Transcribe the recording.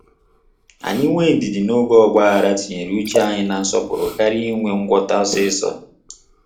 Anyị nwe ndidi na-oge ọgbaaghara tinye uche anyị na nsọpụrụ karịa inwe ngwọta osiso